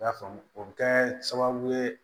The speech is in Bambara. I y'a faamu o bɛ kɛ sababu ye